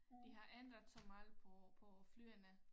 De har ændret så meget på på flyene